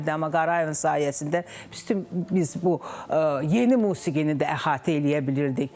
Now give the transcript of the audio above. Amma Qarayevin sayəsində biz bütün biz bu yeni musiqini də əhatə eləyə bilirdik.